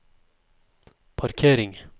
parkering